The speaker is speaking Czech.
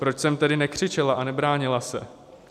Proč jsem tedy nekřičela a nebránila se?